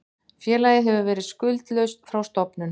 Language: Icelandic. Félagið hefur verið skuldlaust frá stofnun